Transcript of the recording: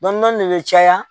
Dɔɔni dɔɔni de bɛ caya.